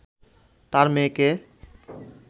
তার মেয়েকে